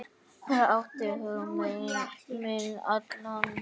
Það átti hug minn allan.